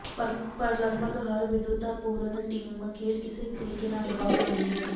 ਪਰ ਲੱਗਭਗ ਹਰ ਵਿਦਵਤਾਪੂਰਨ ਟੀਮ ਖੇਡ ਕਿਸੇ ਵੀ ਤਰੀਕੇ ਨਾਲ ਦਬਾਅ ਬਣਾ ਦਿੰਦੀ ਹੈ